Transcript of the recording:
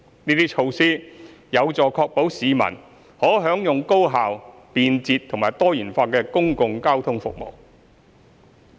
這些措施有助確保市民可享用高效、便捷和多元化的公共交通服務。